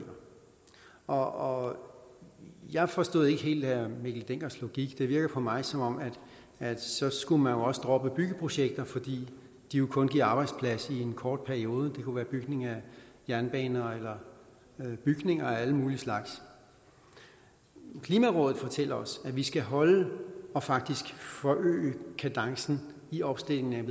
og jeg forstod ikke helt herre mikkel denckers logik det virker på mig som om at så skulle man også droppe byggeprojekter fordi de jo kun giver arbejdsplads i en kort periode det kunne være bygning af jernbaner eller bygninger af alle mulige slags klimarådet fortæller os at vi skal holde og faktisk forøge kadencen i omstillingen